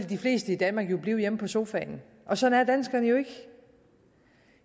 de fleste i danmark jo blive hjemme på sofaen og sådan er danskerne ikke